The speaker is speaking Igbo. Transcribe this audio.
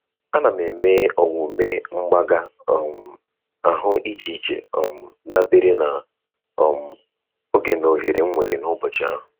Ana m eme omume mgbaga um ahụ iche iche um dabere na um oge na ohere m nwere n'ụbọchị ahụ.